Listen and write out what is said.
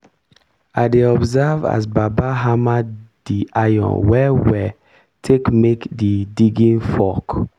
i dey observe as baba hammer di iron well well take make di digging fork.